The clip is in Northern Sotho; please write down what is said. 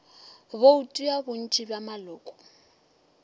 bouto ya bontši bja maloko